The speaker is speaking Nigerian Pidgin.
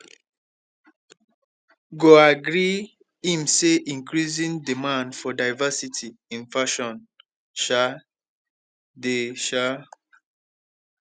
goi agree im say increasing demand for diversity in fashion um dey um